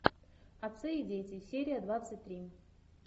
отцы и дети серия двадцать три